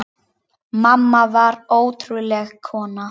Mamma var ótrúleg kona.